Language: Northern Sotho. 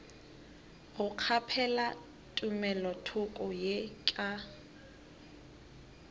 go kgaphela tumelothoko ye ka